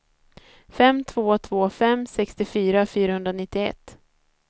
fem två två fem sextiofyra fyrahundranittioett